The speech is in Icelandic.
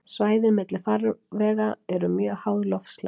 Svæðin milli farvega eru mjög háð loftslagi.